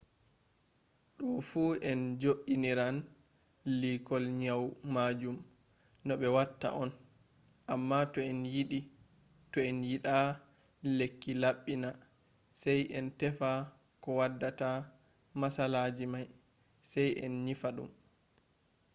do fu en jo iniran liikol nyau majum no be watta on. amma toh en yida lekki labbina sai en tefa ko waddata matsalaji mai sai en nyifa dum